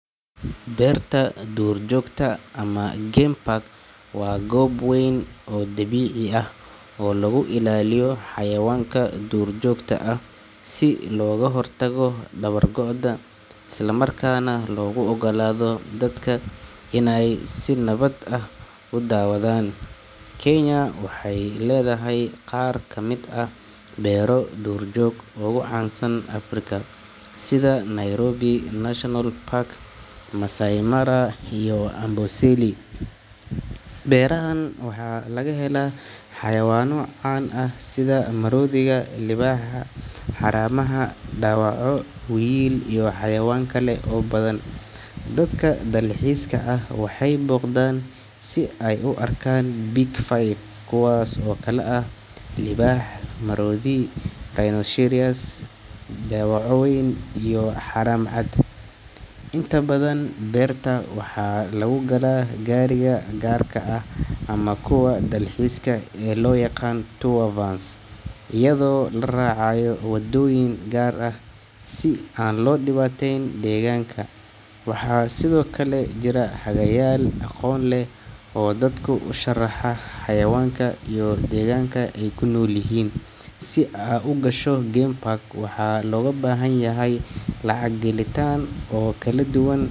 Beerta duurjoogta ama game park waa goob weyn oo dabiici ah oo lagu ilaaliyo xayawaanka duurjoogta ah si looga hortago dabar go’ooda isla markaana loogu oggolaado dadka inay si nabad ah u daawadaan. Kenya waxay leedahay qaar ka mid ah beero duurjoog oo ugu caansan Afrika, sida Nairobi National Park, Masai Mara, iyo Amboseli. Beerahaan waxaa laga helaa xayawaano caan ah sida maroodiga, libaaxa, haramaha, dawaco, wiyil, iyo xayawaan kale oo badan. Dadka dalxiiska ah waxay booqdaan si ay u arkaan Big Five, kuwaas oo kala ah libaax, maroodi, rinocerous, dawaco weyn iyo haram cad. Inta badan beerta waxaa lagu galaa gaariga gaarka ah ama kuwa dalxiiska ee loo yaqaan tour vans iyadoo la raacayo waddooyin gaar ah si aan loo dhibaateyn deegaanka. Waxaa sidoo kale jira hagayaal aqoon leh oo dadka u sharaxa xayawaanka iyo deegaanka ay ku nool yihiin. Si aad u gasho game park, waxaa looga baahan yahay lacag gelitaan oo kala duwan.